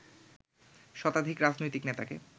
শতাধিক রাজনৈতিক নেতাকে